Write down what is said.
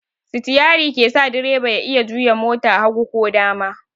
Sitiyari ke sa direba ya iya juya mota hagu ko dama.